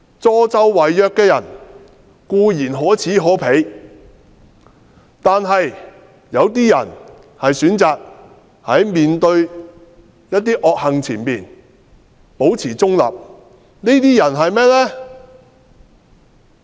助紂為虐的人固然可耻可鄙，但一些人選擇面對惡行保持中立，這些是甚麼人呢？